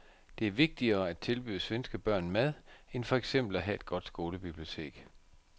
Det er vigtigere at tilbyde svenske børn mad end for eksempel at have et godt skolebibliotek.